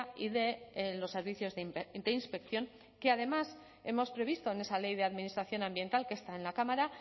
y de los servicios de inspección que además hemos previsto en esa ley de administración ambiental que está en la cámara